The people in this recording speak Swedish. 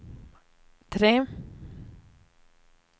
tre